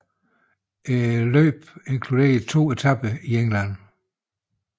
Løbet inkluderede to etaper i England